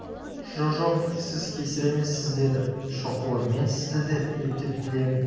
жо-жоқ сіз кесір емессіз деді шоқұлы мен сізді де ептеп білемін